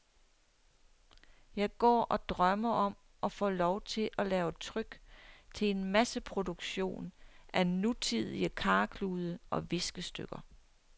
Jeg går og drømmer om at få lov til at lave tryk til en masseproduktion af nutidige karklude og viskestykker.